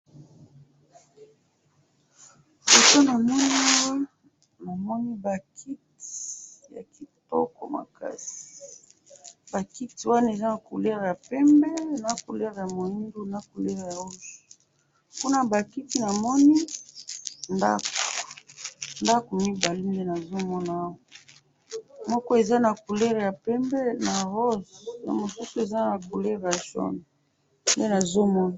Photo namoni awa namoni ba kiti ya kitoko makasi ba kiti wana eza na couleur ya pembe na couleur ya muindo na couleur rouge kuna ba kiti namoni ndako ,ndako mibale nde nazo mona awa moko eza na couleur ya pembe na rose ya mosusu eza na couleur ya jaune nde nazo mona